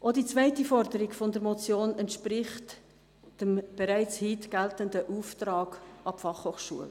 Auch die zweite Forderung der Motion entspricht dem bereits heute geltenden Auftrag an die Fachhochschule.